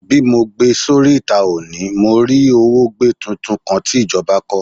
Bi mo gbe sori ita oni, mo rí òwògbé tuntun kan ti ìjọba kọ.